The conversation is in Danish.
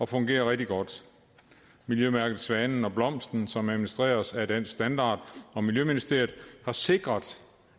fungerer rigtig godt miljømærket svanen og blomsten som administreres af dansk standard og miljøministeriet har sikret